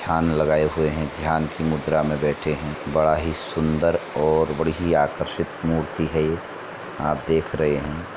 ध्यान लगाये हुए हैं। ध्यान की मुद्रा में बैठे हैं। बड़ा ही सुंदर और बड़ी ही आकर्षित मूर्ति है ये। आप देख रहे हैं।